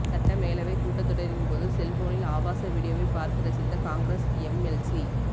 சட்ட மேலவை கூட்டத் தொடரின் போது செல்போனில் ஆபாச வீடியோவை பார்த்து ரசித்த காங்கிரஸ் எம்எல்சி